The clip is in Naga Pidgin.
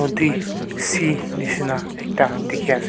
sea nishena ekta dikhie ase.